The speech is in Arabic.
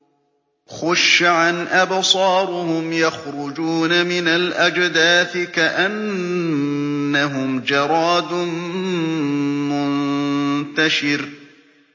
خُشَّعًا أَبْصَارُهُمْ يَخْرُجُونَ مِنَ الْأَجْدَاثِ كَأَنَّهُمْ جَرَادٌ مُّنتَشِرٌ